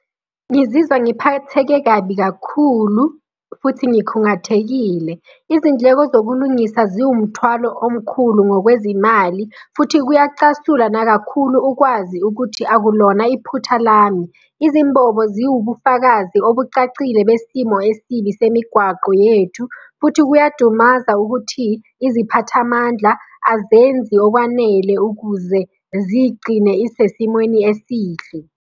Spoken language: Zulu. Ngizizwa ngiphatheke kabi kakhulu futhi ngikhungathekile. Izindleko zokulungisa ziwumthwalo omkhulu ngokwezimali, futhi kuyacasula nakakhulu ukwazi ukuthi akulona iphutha lami. Izimbobo ziwubufakazi obucacile besimo esibi semigwaqo yethu, futhi kuyadumaza ukuthi iziphathamandla azenzi okwanele ukuze zigcine isesimweni esihle.